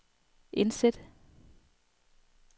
indsæt